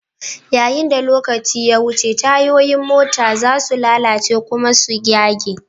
Yayin da lokaci ya wuce, tayoyin mota za su lalace kuma su yage.